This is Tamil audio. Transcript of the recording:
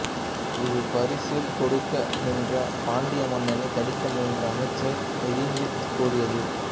இது பரிசில் கொடுக்க நின்ற பாண்டிய மன்னனை தடுக்க முயன்ற அமைச்சரை நிந்தித்து கூறியது